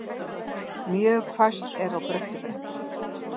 Mjög hvasst er á Bröttubrekku